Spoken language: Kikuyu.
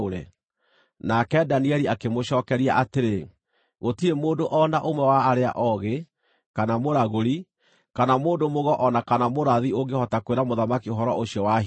Nake Danieli akĩmũcookeria atĩrĩ, “Gũtirĩ mũndũ o na ũmwe wa arĩa oogĩ, kana mũragũri, kana mũndũ-mũgo o na kana mũrathi ũngĩhota kwĩra mũthamaki ũhoro ũcio wa hitho,